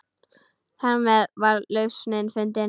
Þarmeð var lausnin fundin.